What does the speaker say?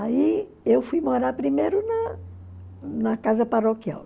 Aí eu fui morar primeiro na na casa paroquial.